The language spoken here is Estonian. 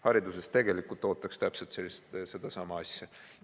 Hariduses ootaks täpselt sedasama asja.